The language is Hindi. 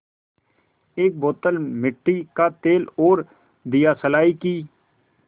एक बोतल मिट्टी का तेल और दियासलाई की